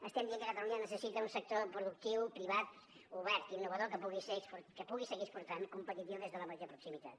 estem dient que catalunya necessita un sector productiu privat obert innovador que pugui seguir exportant competitiu des de la major proximitat